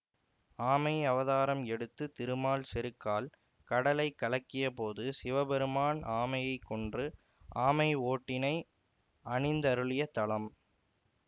ஆமை அவதாரம் எடுத்த திருமால் செருக்கால் கடலைக் கலக்கிய போது சிவபெருமான் ஆமையைக் கொன்று ஆமை ஓட்டினை அணிந்தருளிய தலம்